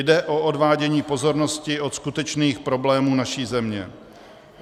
Jde o odvádění pozornosti od skutečných problémů naší země.